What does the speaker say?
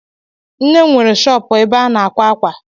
Nne m nwere shọpụ ebe ana àkwá ákwà